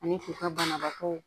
Ani k'u ka banabaatɔ